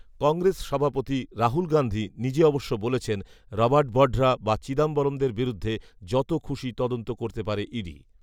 কংগ্রেস সভাপতি রাহুল গান্ধী নিজে অবশ্য বলেছেন, রবার্ট বঢরা বা চিদম্বরমদের বিরুদ্ধে যত খুশি তদন্ত করতে পারে ইডি